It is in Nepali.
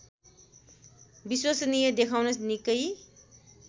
विश्वसनीय देखाउन निकै